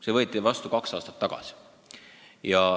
See võeti vastu kaks aastat tagasi.